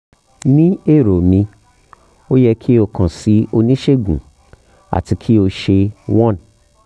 ni ero mi o yẹ ki o kan si onisegun ati ki o ṣe 1